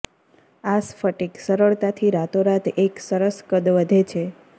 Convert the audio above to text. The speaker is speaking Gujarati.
આ સ્ફટિક સરળતાથી રાતોરાત એક સરસ કદ વધે છે